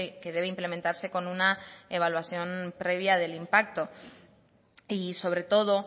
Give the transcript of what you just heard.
que debe implementarse con una evaluación previa del impacto y sobre todo